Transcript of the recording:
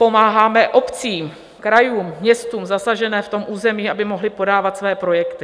Pomáháme obcím, krajům, městům zasaženým v tom území, aby mohly podávat své projekty.